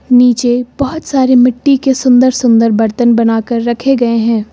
नीचे बहोत सारे मिट्टी के सुंदर सुंदर बर्तन बनाकर रखे गए हैं।